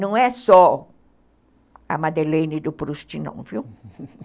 Não é só a Madeleine do Proust, não, viu?